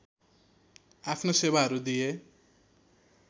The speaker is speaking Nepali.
आफ्नो सेवाहरू दिए